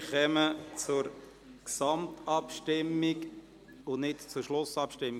Wir kommen jetzt zur Gesamtabstimmung, nicht zu Schlussabstimmung.